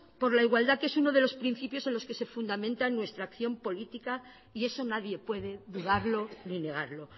por la igualdad que es uno de los principios en los que se fundamenta nuestra acción política y eso nadie puede dudarlo ni negarlo